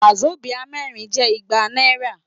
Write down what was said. Wàsobíà mẹ́rin jẹ́ igba náírà.